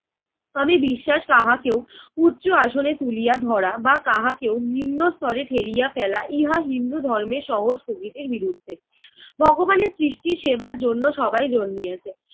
আমি বিশ্বাস কাহাকেও উচ্চ আসনে তুলিয়া ধরা বা কাহাকেও নিম্ন স্তরে ঠেলিয়া ফেলা ইহা হিন্দু ধর্মের সহজ প্রকৃতির বিরুদ্ধে। ভগবানের সৃষ্টি সেবার জন্য সবাই জন্মিয়াছে।